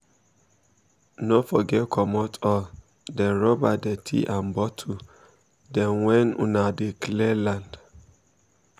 no forget comot all dem rubber dirty and bottle dem when una dey clear land um